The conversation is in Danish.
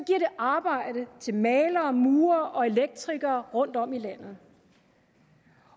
arbejde til malere murere og elektrikere rundtom i landet